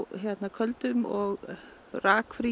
köldum og